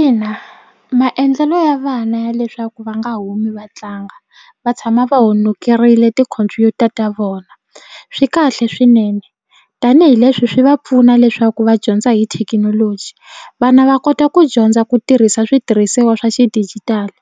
Ina maendlelo ya vana ya leswaku va nga humi va tlanga va tshama va honekerile tikhompyuta ta vona swi kahle swinene tanihileswi swi va pfuna leswaku va dyondza hi thekinoloji vana va kota ku dyondza ku tirhisa switirhisiwa swa xidijitali